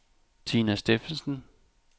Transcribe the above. Tina Steffensen